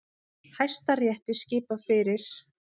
Hæstarétti skipað fyrir